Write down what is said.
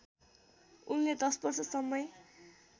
उनले १० वर्षसम्मै